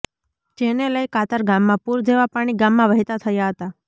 જેને લઈ કાતર ગામમાં પુર જેવા પાણી ગામમાં વહેતા થયા હતા